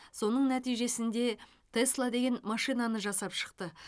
соның нәтижесінде тесла деген машинаны жасап шықты